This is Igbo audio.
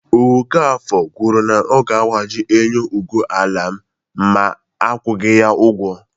Okafor kwuru na ọ ga-agbaji enyo ụgbọ ala m ma akwụghị ya ugwo